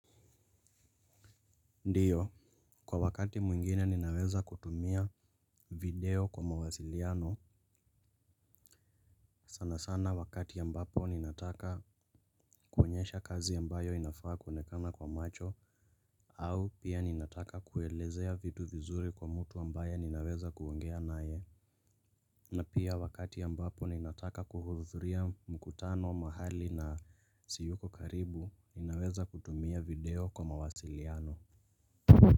Ndiyo, kwa wakati mwingine ninaweza kutumia video kwa mawasiliano. Sana sana wakati ambapo ninataka kuonyesha kazi ambayo inafaa kuonekana kwa macho. Au pia ninataka kuelezea vitu vizuri kwa mtu ambaye ninaweza kuongea naye. Na pia wakati ambapo ninataka kuhuzuria mkutano mahali na siyuko karibu ninaweza kutumia video kwa mawasiliano.